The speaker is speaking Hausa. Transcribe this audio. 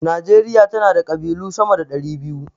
Najeriya tana da ƙabilu sama da 200.